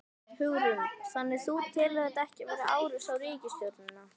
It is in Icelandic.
Hugrún: Þannig þú telur þetta ekki vera árás á ríkisstjórnina?